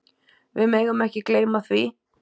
Við megum ekki gleyma því.